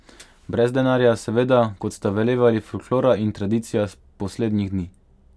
Brez denarja, seveda, kot sta velevali folklora in tradicija poslednjih dni.